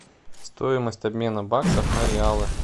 стоимость обмена баксов на реалы